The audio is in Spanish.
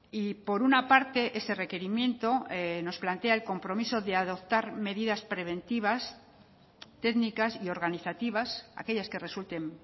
y por una parte ese requerimiento nos plantea el compromiso de adoptar medidas preventivas técnicas y organizativas aquellas que resulten